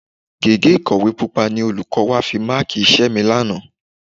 Gègé ìkọ̀wé Pupa ni olùkọ́ wa fi máàkì iṣẹ́ mi lánàá